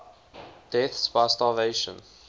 deaths by starvation